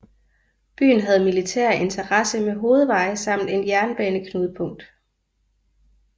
Byen havde militær interesse med hovedveje samt et jernbaneknudepunkt